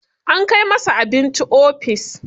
Ana kai masa abinci ofis.